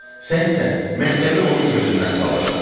Sən isə məktəbi onun gözündən salırsan.